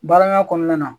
Baaraɲɔgɔnya kɔnɔna na